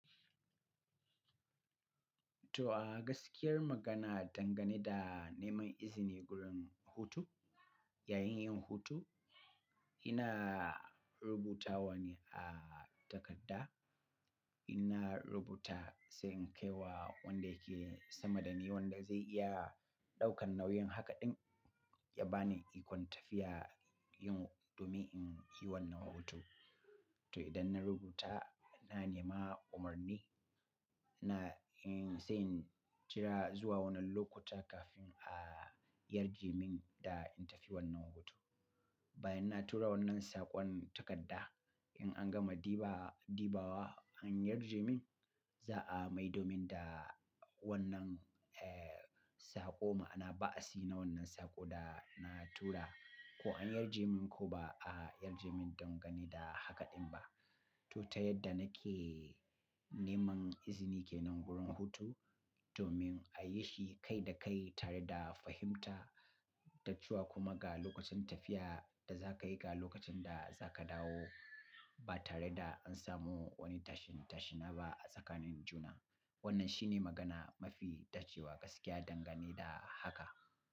To a gaskiyar magana dangane da neman izini gurin hutu, yayin yin hutu, ina rubuta wani a takarda, In na rubuta se in kai wa wanda yake sama dani wanda zai iya ɗaukan nauyin haka ɗin ya bani ikon tafiya yin domin in yi wannan hutu. To idan na rubuta, na nema umarni na in sai in jira zuwa wanan lokuta kafin a yarje min da in tafi wannan hutu. Bayan na tura wannan saƙon takarda in an gama diba, dibawa an yarje min, za a maido min da wannan, eh, saƙo ma'ana ba a si na wannan saƙo da na tura ko an yarje min ko ba a yarje min dangane da hakaɗin ba. To ta yadda nake neman izini kenan gurin hutu domin a yi shi kai da kai tare da fahimta, dacewa kuma ga lokacin tafiya da za ka yi ga lokacin da za ka dawo ba tare da an samu wani tashin-tashina ba a tsakanin juna. Wannan shine magana mafi dacewa gaskiya dangane da haka.